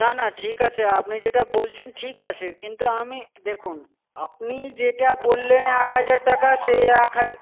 না না ঠিক আছে আপনি যেটা বলছেন ঠিক আছে কিন্তু আমি দেখুন. আপনি যেটা বললেন এক হাজার টাকা সে এক হাজার